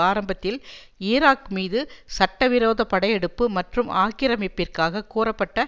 ஆரம்பத்தில் ஈராக் மீது சட்டவிரோத படையெடுப்பு மற்றும் ஆக்கிரமிப்பிற்காக கூறப்பட்ட